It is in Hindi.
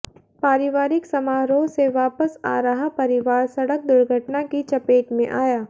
पारिवारिक समारोह से वापस आ रहा परिवार सड़क दुर्घटना की चपेट में आया